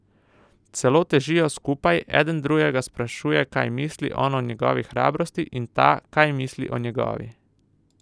Celo težijo skupaj, eden drugega sprašuje, kaj misli on o njegovi hrabrosti, in ta, kaj misli o njegovi.